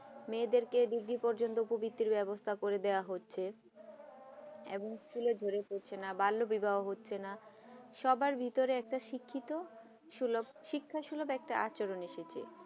মেয়েদের কে ডিগ্রি পযন্ত পবৃত্তি ব্যাবস্থা করে দেওয়া হচ্ছে এবং school ঝরে পরছেনা না বাল্য বিবাহ হচ্ছে না সবাই ভিতরে শিক্ষিত সুলভ শিক্ষাসুলভ একটা আচরণ এসেছে